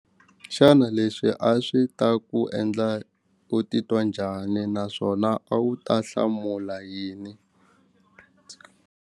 Xana leswi a swi ta ku endla ku titwa njhani naswona a wu ta hlamula yini.